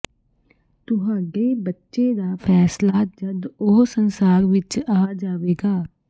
ਤੁਹਾਡੇ ਬੱਚੇ ਦਾ ਫੈਸਲਾ ਜਦ ਉਹ ਸੰਸਾਰ ਵਿੱਚ ਆ ਜਾਵੇਗਾ